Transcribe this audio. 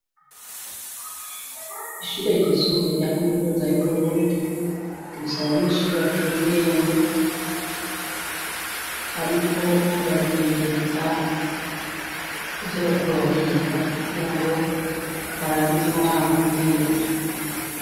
ishuri ryisumbure rya kaminuza y'Uburundi rifise abanyeshuri baciye ubwenge bariko barimenyereza ivyo bariko bariga kugira ngo barangize umwaka neza